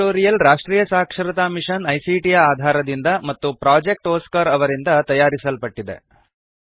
ಈ ಟ್ಯುಟೋರಿಯಲ್ ರಾಷ್ಟ್ರೀಯ ಸಾಕ್ಷರತಾ ಮಿಶನ್ ಐಸಿಟಿ ಯ ಆಧಾರದಿಂದ ಮತ್ತು ಪ್ರೊಜೆಕ್ಟ್ ಒಸ್ಕಾರ್ ಅವರಿಂದ ತಯಾರಿಸಲ್ಪಟ್ಟಿದೆ